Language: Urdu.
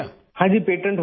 ہاں جی! پیٹنٹ ہوگیا